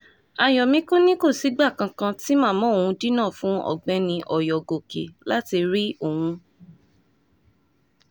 ayọ̀mìkùn ni kò sígbà kankan tí màmá òun dínà fún ọ̀gbẹ́ni oyọ̀gòkè láti rí òun